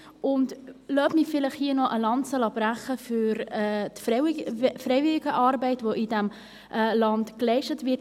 Lassen Sie mich hier auch eine Lanze brechen für die Freiwilligenarbeit, die in diesem Land geleistet wird.